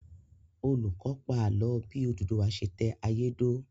Olùkọ́ pa ààlọ́ bí Odùduwà ṣe tẹ ayé dó